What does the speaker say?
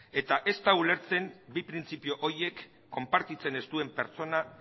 eta ez da ulertzen bi printzipio horiek konpartitzen ez duen pertsona